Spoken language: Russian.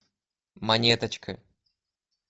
монеточка